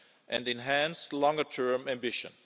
and enhanced longer term ambition.